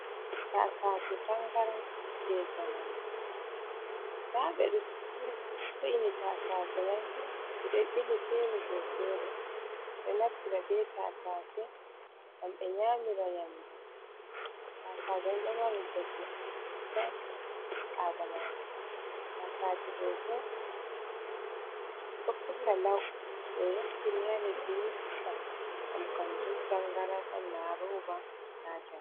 Taasaaje tangaran jey jamanu nda ɓe ɗo cili taasaje mai ɓe ɗo ɓili feere dow feere ɗo naftira bee taasaaje gam ɓe nyamiraa nyamdu taasaaje ɗo mari bote soosai haa aadamaajo taasaaje ɗo'o bo ɗo pusa law to ɓe yoftini haa lecddi ni pusan ngam kannjum tangaran on naa rooba na njamdi.